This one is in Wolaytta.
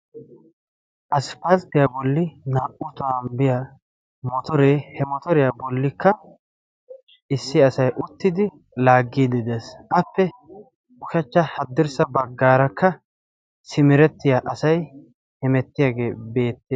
Asipalttiyaa bolli naa"u taan biyaa motoree he motoriyaa bollikka issi asay uttidi laaggiidi dees. appe ushachcha haddirssa baggaarakka simiretiya asay hemettiyaagee beette